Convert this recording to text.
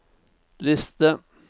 liste